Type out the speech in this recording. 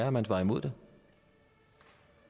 at man var imod det